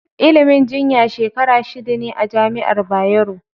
Ilimin jinya Shekara shida ne a jami'ar Bayero.